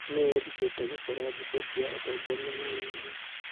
Nĩ eerutire gũcora mbica cia atongoria na nyamũ.